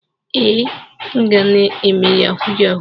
Ee, m na-eme yahoo yahoo.